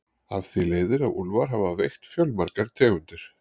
Af því leiðir að úlfar hafa veitt fjölmargar tegundir.